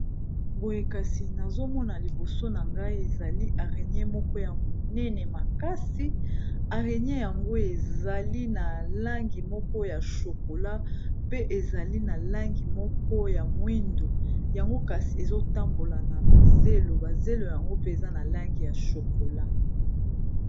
Boye kasi nazomona liboso na ngai ezali aregnie moko ya monene makasi arenie yango ezali na langi moko ya shokola pe ezali na langi moko ya moindo, yango kasi ezotambola na mazelo bazelo yango pe eza na langi ya shokola.